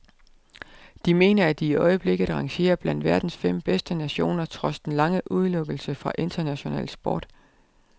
De mener, at de i øjeblikket rangerer blandt verdens fem bedste nationer trods den lange udelukkelse fra international sport.